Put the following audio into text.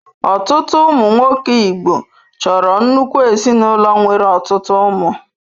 Ọtụtụ ụmụ nwoke Igbo chọrọ nnukwu ezinụlọ nwere ọtụtụ ụmụ.